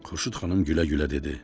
Xurşud xanım gülə-gülə dedi: